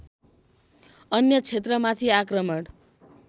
अन्य क्षेत्रमाथि आक्रमण